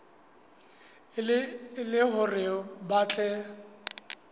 e le hore ba tle